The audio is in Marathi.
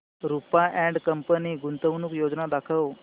रुपा अँड कंपनी गुंतवणूक योजना दाखव